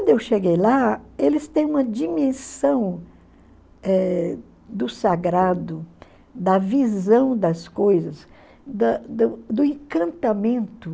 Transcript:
Quando eu cheguei lá, eles têm uma dimensão eh do sagrado, da visão das coisas, da do do encantamento.